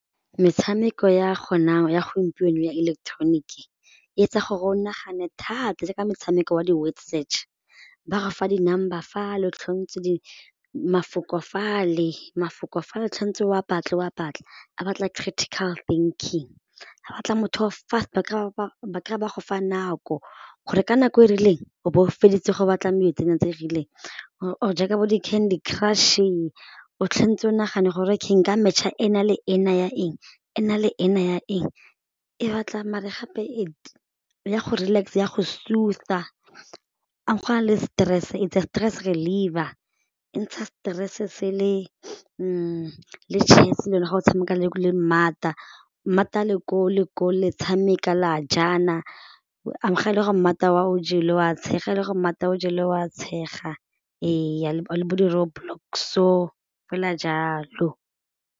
Metshameko ya ya gompieno ya electronic e etsa gore o nagane thata jaaka motshameko wa di-word search ba go fa di number fa le di mafoko fale mafoko fale o wa batle wa batle, a batla critical thinking a batla motho o fast ba kry-e ba go fa nako gore ka nako e rileng o bo o feditse go batla tse dingwe tse rileng gore o jaaka bo di candy crush-e o o nagane gore ka nka match-a ena le ena ya eng e na le ena ya eng e batla mare gape ya go relax ya go a go na le stress its a stress reliever, e ntsha stress sele le chess le yone ga o tshameka le a le koo le ko le tshameka la jana, ga e le gore wa o jele wa tshega le go o jelwe wa tshega eya le bo di roadblocks-o fela jalo.